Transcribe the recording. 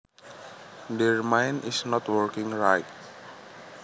Their mind is not working right